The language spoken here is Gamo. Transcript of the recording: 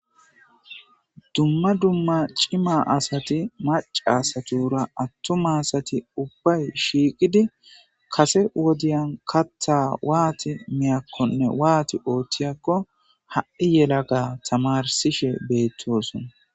dumma dumma cima asati maci asatura attuma asati ubbay shiiqidi kase wodiyan kaththa waati miyakkonne waati ooththiyakko ha'i yelaga tamarsishe beettosona